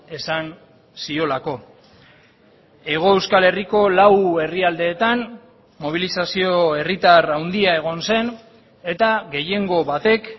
esan ziolako hego euskal herriko lau herrialdeetan mobilizazio herritar handia egon zen eta gehiengo batek